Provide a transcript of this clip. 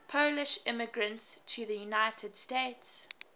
polish immigrants to the united states